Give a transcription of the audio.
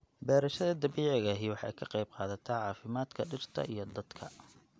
Beerashada dabiiciga ahi waxay ka qayb qaadataa caafimaadka dhirta iyo dadka.